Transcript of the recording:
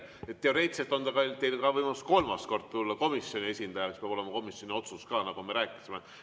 Selge, teoreetiliselt on teil võimalus ka kolmas kord tulla komisjoni esindajana, aga siis peab olema komisjoni otsus, nagu me rääkisime.